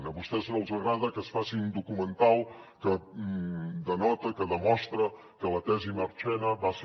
a vostès no els agrada que es faci un documental que denota que demostra que la tesi marchena va ser